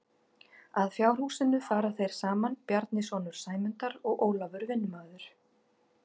Að fjárhúsinu fara þeir saman Bjarni sonur Sæmundar og Ólafur vinnumaður.